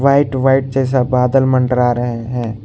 White white जैसा बादल मंडरा रहे हैं।